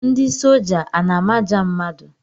Ndị soja a na-amaja mmadụ?